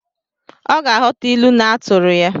Ọ ga-aghọta ilu na-atụrụ ya